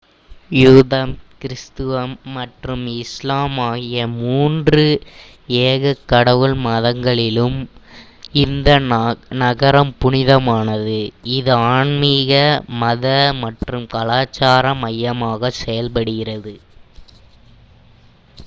யூதம் கிறிஸ்தவம் மற்றும் இஸ்லாம் ஆகிய மூன்று ஏகக் கடவுள் மதங்களுக்கும் இந்த நகரம் புனிதமானது இது ஆன்மீக மத மற்றும் கலாச்சார மையமாகச் செயல்படுகிறது